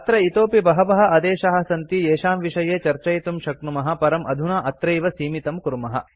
अत्र इतोऽपि बहवः आदेशाः सन्ति येषां विषये चर्चयितुं शक्नुमः परं अधुना अत्रैव सीमितं कुर्मः